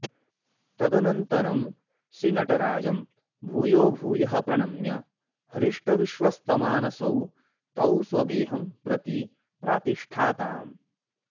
तदनन्तरं श्रीनटराजं भूयोभूयः प्रणम्य हृष्टविश्वस्तमानसौ तौ स्वगेहं प्रति प्रातिष्ठाताम्